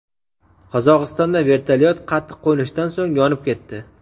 Qozog‘istonda vertolyot qattiq qo‘nishdan so‘ng yonib ketdi.